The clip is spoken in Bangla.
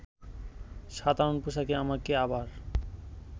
সাধারণ পোশাকে আমাকে আবার